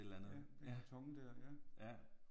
Ja den karton der ja